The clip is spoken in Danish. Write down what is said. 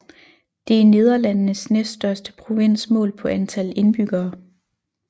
Det er Nederlandenes næststørste provins målt på antal indbyggere